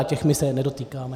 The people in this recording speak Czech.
A těch my se nedotýkáme.